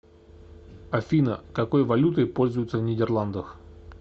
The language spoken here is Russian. афина какой валютой пользуются в нидерландах